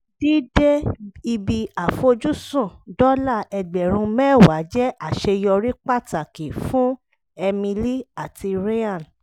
dídé ibi àfojúsùn dọ́là ẹgbẹ̀rún mẹ́wàá jẹ́ àṣeyọrí pàtàkì fún emily àti ryan